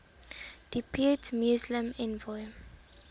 depute muslim envoy